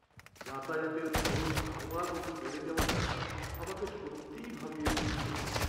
যাতায়াতের খরচ ক্রমাগত বেড়ে যাওয়াটা আমাকে সত্যিই ভাবিয়ে তুলছে।